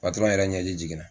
Patɔrɔn yɛrɛ ɲɛ ji jiginna.